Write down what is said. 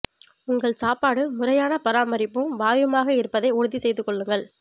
உங்கள் சாப்பாடு முறையான பராமரிப்பும் வாயுமாக இருப்பதை உறுதி செய்து கொள்ளுங்கள்